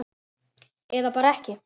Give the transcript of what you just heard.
Eða bara ekki?